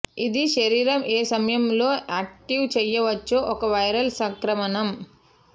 ఇది శరీరం ఏ సమయంలో యాక్టివేట్ చేయవచ్చు ఒక వైరల్ సంక్రమణం